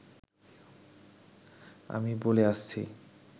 আমি বলে আসছি